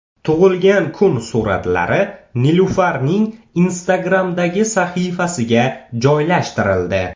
Tug‘ilgan kun suratlari Nilufarning Instagram’dagi sahifasiga joylashtirildi .